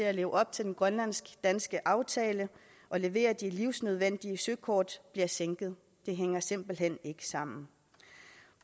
at leve op til den grønlandsk danske aftale og levere de livsnødvendige søkort bliver sænket det hænger simpelt hen ikke sammen